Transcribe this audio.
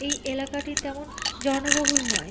এই এলাকাটি তেমন জনবহুল নয়।